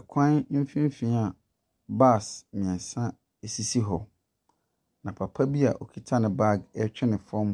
Ɛkwan mfimfini a bus mmiɛnsa sisi hɔ. Na papa bi a okita ne bag retwe no fam